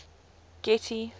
getty